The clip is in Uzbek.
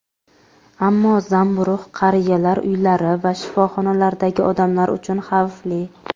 ammo zamburug‘ qariyalar uylari va shifoxonalardagi odamlar uchun xavfli.